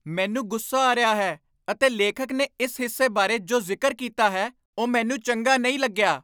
ਮੈਨੂੰ ਗੁੱਸਾ ਆ ਰਿਹਾ ਹੈ ਅਤੇ ਲੇਖਕ ਨੇ ਇਸ ਹਿੱਸੇ ਬਾਰੇ ਜੋ ਜ਼ਿਕਰ ਕੀਤਾ ਹੈ ਉਹ ਮੈਨੂੰ ਚੰਗਾ ਨਹੀਂ ਲੱਗਿਆ।